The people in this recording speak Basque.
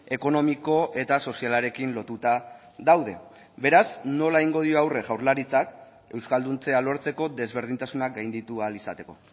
ekonomiko eta sozialarekin lotuta daude beraz nola egingo dio aurre jaurlaritzak euskalduntzea lortzeko desberdintasunak gainditu ahal izateko